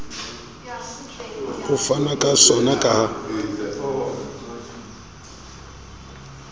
ho fanwa ka sona ka